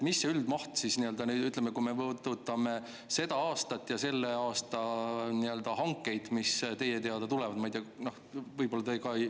Mis see üldmaht siis on, ütleme, kui me vaatame seda aastat ja selle aasta hankeid, mis teie teada tulevad?